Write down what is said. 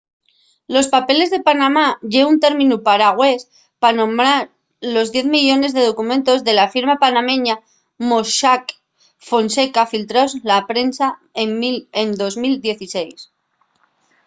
los papeles de panamá” ye un términu paragües pa nomar los diez millones de documentos de la firma panameña mossack fonseca filtraos a la prensa en 2016